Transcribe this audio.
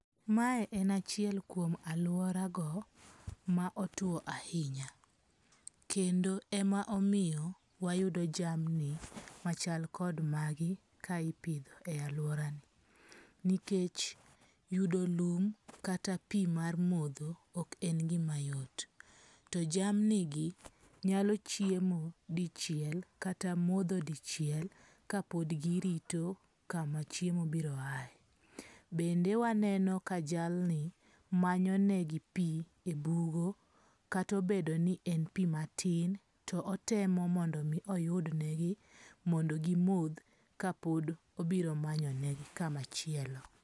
Ma en achiel kuom aluora go ma otuo ahinya. Kendo ema omiyo wayudo jamni machal kod magi ka ipidho e aluora ni. Nikech yudo lum kata pi mar modho ok en gima yot. To jamni gi nyalo chiemo dichiel kata modho dichiel ka pod girito kama chiemo biro ae. Bende waneno ka jalni manyo ne gi pi ebugo kata obedo ni en pi matin to otemo mondo mi oyudnegi mondo gimodh ka pod obiro manyonegi kamachielo.